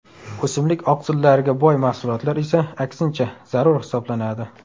O‘simlik oqsillariga boy mahsulotlar esa aksincha, zarur hisoblanadi.